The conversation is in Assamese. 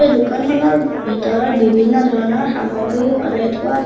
এই দোকানখনৰ ভিতৰত বিভিন্ন ধৰণৰ সামগ্ৰী সজাই থোৱা--